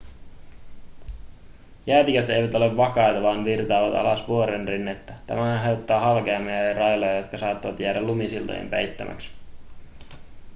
jäätiköt eivät ole vakaita vaan virtaavat alas vuorenrinnettä tämä aiheuttaa halkeamia ja railoja jotka saattavat jäädä lumisiltojen peittämiksi